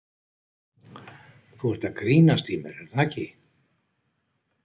Þú ert að grínast í mér er það ekki?